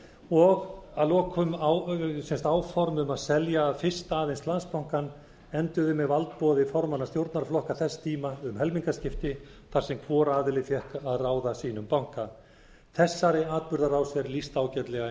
og að lokum sett áform um að selja fyrst aðeins landsbankann enduðu með valdboði formanna stjórnarflokka þess tíma um helmingaskipti þar sem hvor aðili fékk að ráða sínum banka þessari atburðarás er lýst ágætlega í